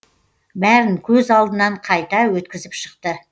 бәрін көз алдынан қайта өткізіп шықты